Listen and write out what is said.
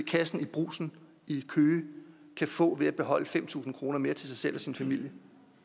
kassen i brugsen i køge kan få ved at beholde fem tusind kroner mere til sig selv og sin familie